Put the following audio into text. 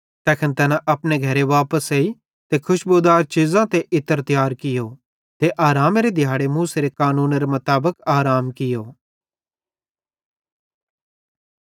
तैखन तैना अपने घरे वापस आए ते खुशबुदार चीज़ां ते इत्र तियार कियो ते आरामेरे दिहाड़े मूसेरे कानूनेरे मुताबिक आराम कियो